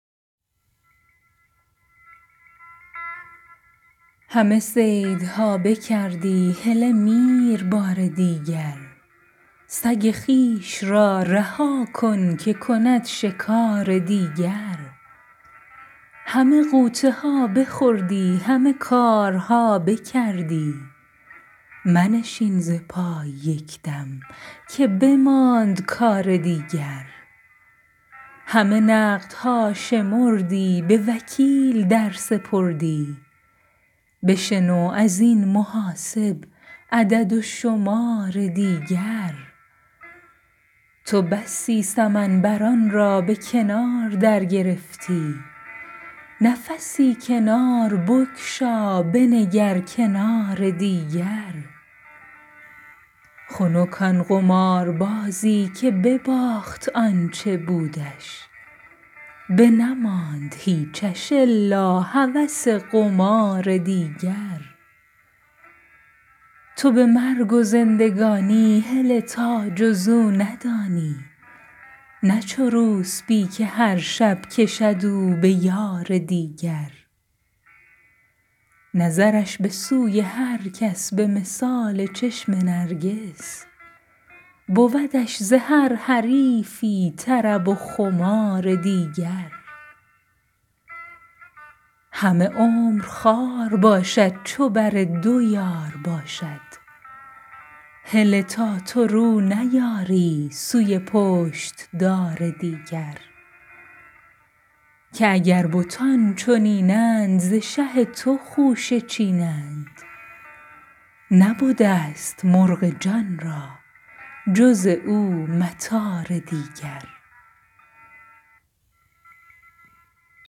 همه صیدها بکردی هله میر بار دیگر سگ خویش را رها کن که کند شکار دیگر همه غوطه ها بخوردی همه کارها بکردی منشین ز پای یک دم که بماند کار دیگر همه نقدها شمردی به وکیل در سپردی بشنو از این محاسب عدد و شمار دیگر تو بسی سمن بران را به کنار درگرفتی نفسی کنار بگشا بنگر کنار دیگر خنک آن قماربازی که بباخت آ ن چه بودش بنماند هیچش الا هوس قمار دیگر تو به مرگ و زندگانی هله تا جز او ندانی نه چو روسپی که هر شب کشد او به یار دیگر نظرش به سوی هر کس به مثال چشم نرگس بودش ز هر حریفی طرب و خمار دیگر همه عمر خوار باشد چو بر دو یار باشد هله تا تو رو نیاری سوی پشت دار دیگر که اگر بتان چنین اند ز شه تو خوشه چینند نبده ست مرغ جان را به جز او مطار دیگر